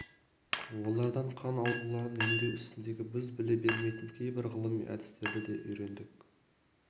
олардан қан ауруларын емдеу ісіндегі біз біле бермейтін кейбір ғылыми әдістерді де үйрендік